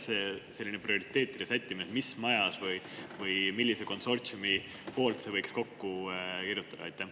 Mis teie arvamus on, kus selline prioriteetide sättimine, mis majas või millise konsortsiumi poolt võiks selle kokku kirjutada?